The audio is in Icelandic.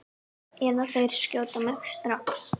Eða þeir skjóta mig strax.